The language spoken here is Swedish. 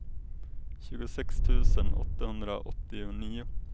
tjugosex tusen åttahundraåttionio